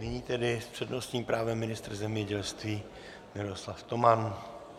Nyní tedy s přednostním právem ministr zemědělství Miroslav Toman.